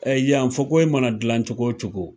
Ɛɛ yan , fakoyi mana jilan cogo cogo.